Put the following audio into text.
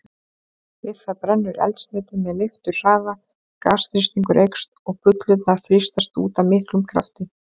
Við það brennur eldsneytið með leifturhraða, gasþrýstingur eykst og bullurnar þrýstast út af miklum krafti.